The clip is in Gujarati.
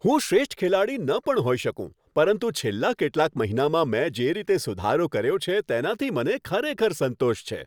હું શ્રેષ્ઠ ખેલાડી ન પણ હોઈ શકું પરંતુ છેલ્લા કેટલાક મહિનામાં મેં જે રીતે સુધારો કર્યો છે તેનાથી મને ખરેખર સંતોષ છે.